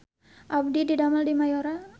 Abdi didamel di Mayora